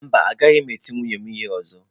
Mba, agaghị m eti nwunye m ihe ọzọ.